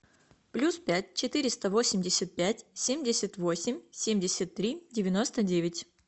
плюс пять четыреста восемьдесят пять семьдесят восемь семьдесят три девяносто девять